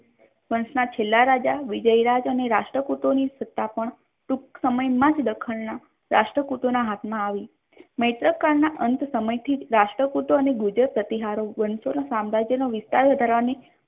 વન્સના છેલ્લા રાજા વિજય રાજ અને રાષ્ટ્રપતિની સત્તા પણ ટૂંક સમયમાં જ દખણના રાષ્ટ્રપુતોના હાથમાં આવી મૈત્રક કાળના અંત સમયથી રાષ્ટ્રપૂતોની ભૂદેવ પ્રતિહારો વંટોળ સામ્રાજ્યનો વિસ્તાર કરવાની